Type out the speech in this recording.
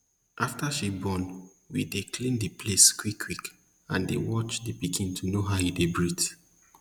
after she born we dey clean the place quick quick and dey watch the pikin to know how e dey breathe